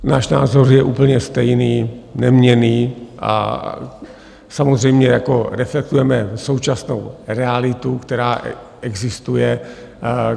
Náš názor je úplně stejný, neměnný, a samozřejmě reflektujeme současnou realitu, která existuje.